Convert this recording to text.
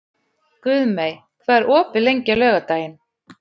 Guðmey, hvað er opið lengi á laugardaginn?